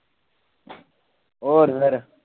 ਹੋਰ ਫਿਰ